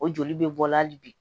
O joli bɛ bɔ hali bi